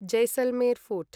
Jaisalmer fort